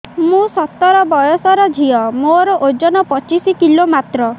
ମୁଁ ସତର ବୟସର ଝିଅ ମୋର ଓଜନ ପଚିଶି କିଲୋ ମାତ୍ର